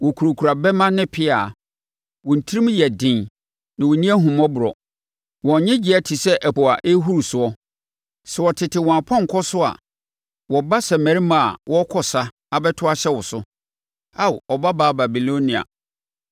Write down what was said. Wɔkurakura bɛmma ne pea; wɔn tirim yɛ den, na wɔnni ahummɔborɔ. Wɔn nnyegyeeɛ te sɛ ɛpo a ɛrehuru soɔ. Sɛ wɔtete wɔn apɔnkɔ so a, wɔba sɛ mmarima a wɔrekɔ sa abɛto ahyɛ wo so, Ao Ɔbabaa Babilonia.